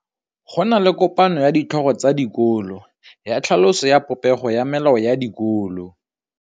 Go na le kopanô ya ditlhogo tsa dikolo ya tlhaloso ya popêgô ya melao ya dikolo.